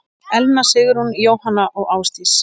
Elna Sigrún, Jóhanna og Ásdís.